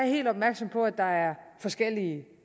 helt opmærksom på at der er forskellige